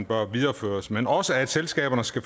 bør videreføres men også at selskaberne skal